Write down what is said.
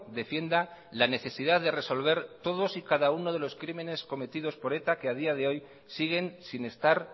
defienda la necesidad de resolver todos y cada uno de los crímenes cometidos por eta que a día de hoy siguen sin estar